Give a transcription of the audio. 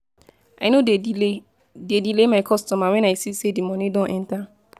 I no dey delay dey delay my customer wen I see sey di moni don enta.